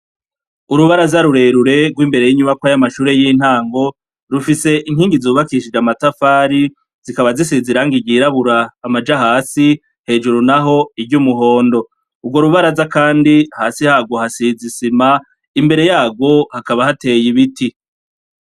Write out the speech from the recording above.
Urubaraza rurerure rw'imbere y'inyubakwa y'amashure y'intango, rufise inkingi zubakishije amatafari, zikaba zisize irangi ryirabura amaja hasi, hejuru naho iry'umuhondo. Urwo rubaraza kandi, hasi harwo hasize isima, imbere yarwo hakaba hateye ibiti.